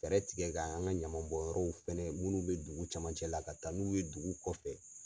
Fɛɛrɛ tigɛ ka an ka ɲaman bɔn yɔrɔw fɛnɛ munnu bɛ dugu camancɛ la ka taa n'u ye dugu kɔfɛ.